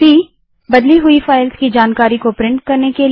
cबदली हुई फ़ाइल्स की जानकारी को प्रिंट करने के लिए